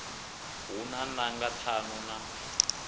hu na nanga ṱhanu na